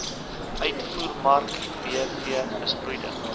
uitvoermark bv besproeide